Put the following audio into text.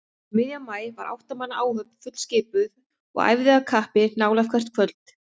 Um miðjan maí var átta manna áhöfn fullskipuð og æfði af kappi nálega hvert kvöld.